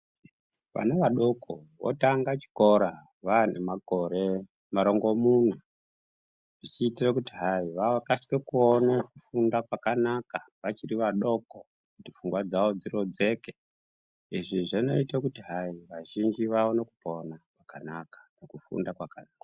Vana vadoko votanga chikora vane makore marongomuna zvichiitira kuti hai vakasike kuona kufunda kwakanaka vachiri vadoko kuti pfungwa dzawo dzirodzeke . Izvi zvinoite kuti hai vazhinji vaone kupona kwakanaka nekufunda kwakanaka.